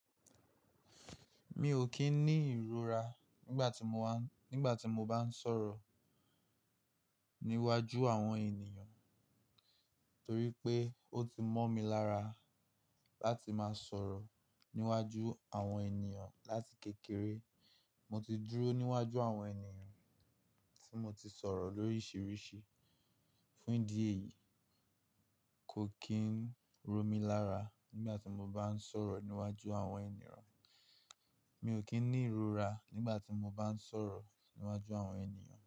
Mi ò kí ń ní ìrora nígbà tí mo wá, nígbà tí mo bá ń sọ̀rọ̀ níwájú àwọn ènìyàn, torí pé ó ti mọ́ mi lára láti máa sọ̀rọ̀ níwájú àwọn ènìyàn láti kékeré. Mo ti dúró níwájú àwọn ènìyàn tí mo ti sọ̀rọ̀ lóríṣiríṣi. Fún ìdí èyí, kò kí ń ro mí lára nígbà tí mo bá ń sọ̀rọ̀ níwájú àwọn ènìyàn. Mi ò kí ń ní ìrora nígbà tí mo bá ń sọ̀rọ̀ níwájú àwọn ènìyàn.